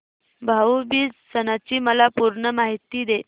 भाऊ बीज सणाची मला पूर्ण माहिती दे